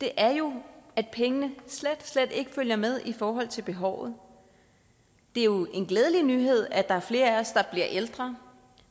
er jo at pengene slet slet ikke følger med i forhold til behovet det er jo en glædelig nyhed at der er flere af os der bliver ældre